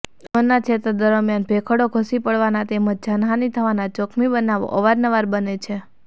અમરનાથ યાત્રા દરમિયાન ભેખડો ઘસી પડવાના તેમજ જાનહાનિ થવાના જોખમી બનાવો અવાર નવાર બને છે